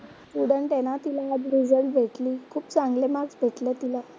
Student आहे ना, तिला आज रिझल्ट भेटली. खूप चांगले मार्क्स भेटले तिला.